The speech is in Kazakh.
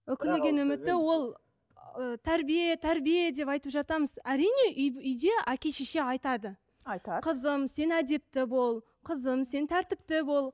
үкілеген үміті ол ыыы тәрбие тәрбие деп айтып жатамыз әрине үй үйде әке шеше айтады айтады қызым сен әдепті бол қызым сен тәртіпті бол